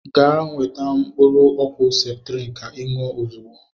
Gaa weta mkụrụ ọkwụ septrin ka i nwụọ ọzigbọ!!!!!